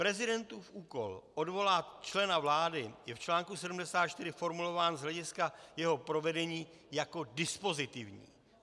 Prezidentův úkol odvolat člena vlády je v článku 74 formulován z hlediska jeho provedení jako dispozitivní.